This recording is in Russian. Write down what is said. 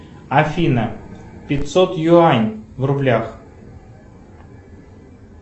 афина пятьсот юань в рублях